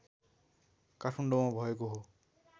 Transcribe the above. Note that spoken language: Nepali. काठमाडौँमा भएको हो